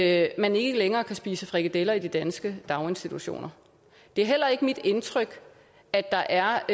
at man ikke længere kan spise frikadeller i de danske daginstitutioner det er heller ikke mit indtryk at der er